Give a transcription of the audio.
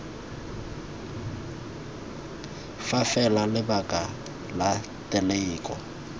fa fela lebaka la teleko